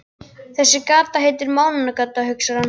Þessi gata heitir Mánagata, hugsar hann.